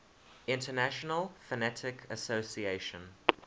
international phonetic association